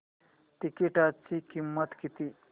तिकीटाची किंमत किती